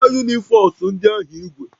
Ị werela unifos ndị ahụ ígwè?